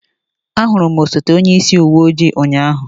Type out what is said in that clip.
Ahụrụ m onye osote onyeisi uwe ojii ụnyaahụ.